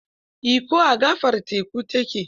Ikko, a gaɓar teku ta ke.